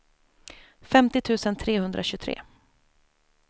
femtio tusen trehundratjugotre